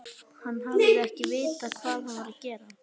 Hann hafi ekki vitað hvað hann var að gera.